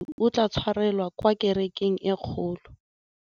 Mokete wa thulaganyôtumêdi o tla tshwarelwa kwa kerekeng e kgolo.